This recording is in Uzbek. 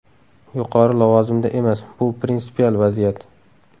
Yuqori lavozimda emas, bu prinsipial vaziyat.